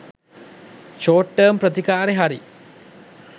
short term ප්‍රතිකාරේ හරි